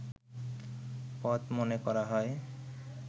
পথ মনে করা হয়